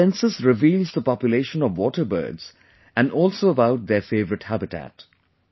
This Census reveals the population of water birds and also about their favorite Habitat